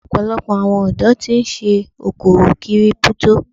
Ọ̀pọ̀lọpọ̀ àwọn ọ̀dọ́ tí ń ṣe okòwò Kírípútò.